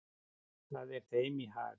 Það er þeim í hag.